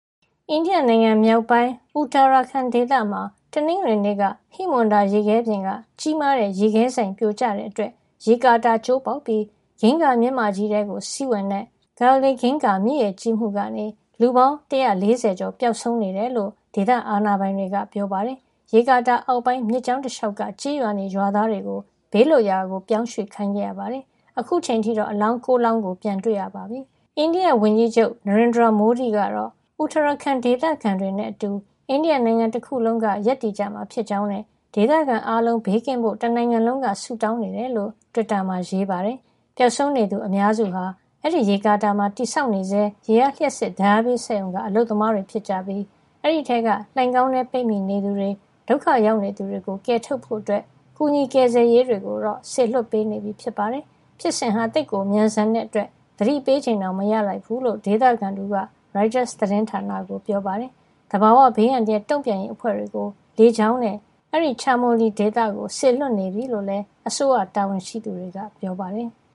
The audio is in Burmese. အိန္ဒိယနိုင်ငံမြောက်ပိုင်း Uttarakhand ဒေသမှာ တနင်္ဂနွေနေ့က ဟိမဝန္တာရေခဲပြင်က ကြီးမားတဲ့ရေခဲစိုင်ပြိုကျတဲ့အတွက် ရေကာတာ ကျိုးပေါက်ပြီး အင်္ဂါမြစ်မကြီးထဲ စီးဝင်တဲ့ Dhauli Ganga မြစ်ရေကြီးမှုကနေ လူပေါင်း ၁၄၀ ကျော် ပျောက်ဆုံးနေတယ်လို့ ဒေသအာဏာပိုင်တွေက ပြောပါတယ်။ ရေကာတာအောက်ပိုင်း မြစ်ကြောင်းတလေ ျှာက်က ကျေးရွာနေ ရွာသားတွေကို ဘေးလွတ်ရာ ပြောင်းရွှေ့ခိုင်းခဲ့ရပါတယ်။ အခုအချိန်အထိတော့ အလောင်း ၉ လောင်း ပြန်တွေ့ရပြီ လို့ပြောပါတယ်။ အိန္ဒိယဝန်ကြီးချုပ် Narendra Modi ကတော့ Uttarakhand ဒေသခံတွေနဲ့ အတူ အိန္ဒိယတနိုင်ငံလုံးက ရပ်တည်ကြမှာ ဖြစ်ကြောင်းနဲ့ ဒေသခံအားလုံး ဘေးကင်းဖို့ တနိုင်ငံလုံးက ဆုတောင်းနေကြောင်း တွစ်တာမှာ ရေးပါတယ်။ ပျောက်ဆုံးနေသူ အများစုဟာ အဲဒီရေကာတာမှာ တည်ဆောက်နေဆဲ ရေအားလ ျှပ်စစ်ဓါတ်အားပေးစက်ရုံ က အလုပ်သမားတွေ ဖြစ်ပြီး အဲဒီက လှိုဏ်ခေါင်းထဲ ပိတ်မိနေသူတွေကို ကယ်ထုတ်ဖို့ ကူညီကယ်ဆယ်ရေးတွေကို စေလွှတ်ပေးနေပြီ ဖြစ်ပါတယ်။ ဖြစ်စဉ်ဟာ သိပ်ကို မြန်ဆန်တဲ့ အတွက် သတိပေးချိန်တောင် မရလိုက်ဘူးလို့ ဒေသခံ တဦးက ရိုက်တာ သတင်းဌာနကို ပြောပါတယ်။ သဘာဝဘေးအန္တရာယ် တုန့်ပြန်ရေးအဖွဲ့တွေကို လေကြောင်းနဲ့ အဲဒီ Chamoli ဒေသကို စေလွှတ်နေပြီလို့လည်း အစိုးရ တာဝန်ရှိသူတွေက ပြောပါတယ်။